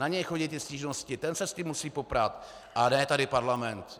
Na něj chodí ty stížnosti, ten se s tím musí poprat, a ne tady parlament.